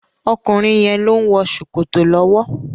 Ọkùnrin yẹn ló ń wọ Sòkòtò lọ́wọ́.